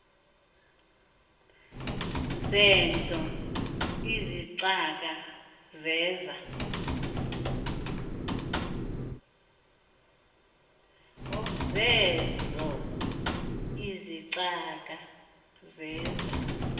zeezo izicaka zeza